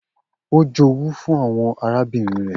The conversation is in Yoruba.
O jowu fun awọn arabinrin rẹ.